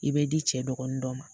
I bɛ di cɛ dɔgɔnin dɔ ma.